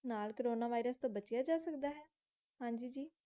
ਨਾਲ corona virus ਤੋਂ ਬਚਿਆ ਜਾ ਸਕਦਾ ਹੈ? ਹਾਂਜੀ ਜੀ